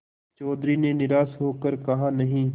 चौधरी ने निराश हो कर कहानहीं